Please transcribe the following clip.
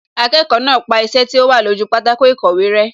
Akẹ́kọ̀ọ́ náà pa iṣẹ́ tí ó wà lójú pátákó ìkọ̀wé rẹ́